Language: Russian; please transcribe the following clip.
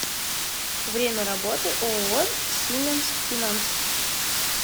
время работы ооо сименс финанс